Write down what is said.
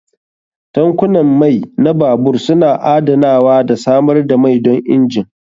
Tankunan mai na babur suna adanawa da samar da mai don injin.